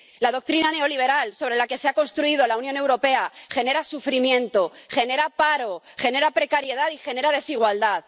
La doctrina neoliberal sobre la que se ha construido la Unión Europea genera sufrimiento, genera paro, genera precariedad y genera desigualdad.